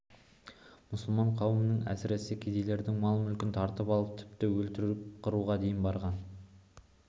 мұсылман қауымының әсіресе кедейлердің мал-мүлкін тартып алып тіпті өлтіріп қыруға дейін барған